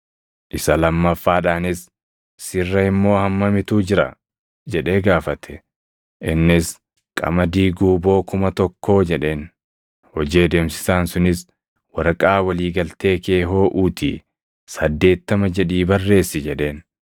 “Isa lammaffaadhaanis, ‘Sirra immoo hammamitu jira?’ jedhee gaafate. “Innis, ‘Qamadii guuboo kuma tokkoo’ jedheen. “Hojii adeemsisaan sunis, ‘Waraqaa walii galtee kee hooʼuutii, 80 jedhii barreessi’ jedheen.